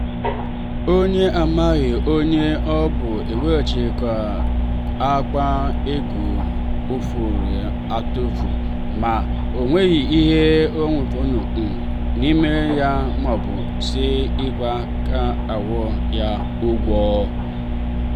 onye amaghị onye ọbụ wechighatara akpa ego dafuru adafu ma o nweghị ihe ọ um bụla n'ime ya maọbụ si ka akwo ya ụgwọ.